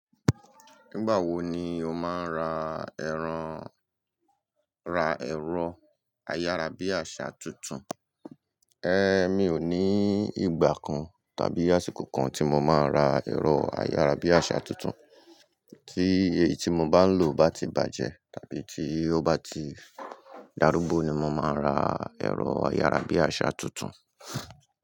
Nígbà wo ni o máa ra ẹran, ra ẹ̀rọ ayárabíàṣá túntún? Ehn, mi ò ní ìgbà kan tàbí àsìkò kan tí mo máa ra ẹ̀rọ ayárabíàṣá túntún. Tí èyí tí mo bá ń lò bá ti bàjẹ́ tàbí tí ó bá ti dárúgbò ni mo máa ra ẹ̀rọ ayárabíàṣá túntún.